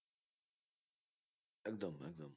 একদম একদম